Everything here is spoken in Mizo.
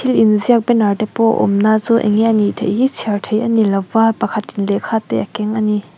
thilin ziak banner te pawh a awm na chu enge anih theih hi chhiar theih anilo va pakhatin lehkha te a keng ani.